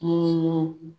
Munnu